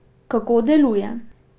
Kako deluje?